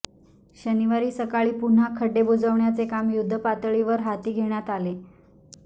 शनिवारी सकाळी पुन्हा खड्डे बुजवण्याचे काम युद्धपातळीवर हाती घेण्यात आले